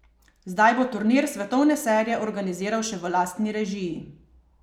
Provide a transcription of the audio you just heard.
Zdaj bo turnir svetovne serije organiziral še v lastni režiji.